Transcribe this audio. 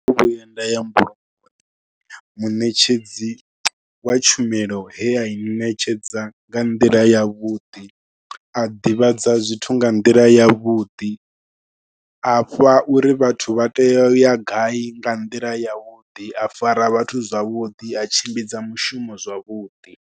Ndo no vhuya nda ya mbulungoni, muṋetshedzi wa tshumelo he a i ṋetshedza nga nḓila yavhuḓi, a ḓivhadza zwithu nga nḓila ḽa yavhuḓi, a fha uri vhathu vha tea u ya gai nga nḓila yavhuḓi, a fara vhathu zwavhuḓi, a tshimbidza mushumo zwavhuḓi.